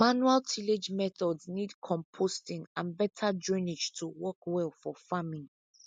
manual tillage methods need composting and better drainage to work well for farming